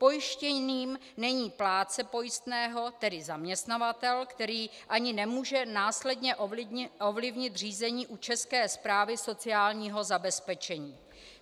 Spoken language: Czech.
Pojištěným není plátce pojistného, tedy zaměstnavatel, který ani nemůže následně ovlivnit řízení u České správy sociálního zabezpečení.